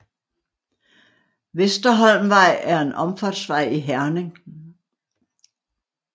Vesterholmvej er en omfartsvej i Herning